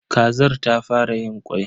Kazar ta fara yin kwai.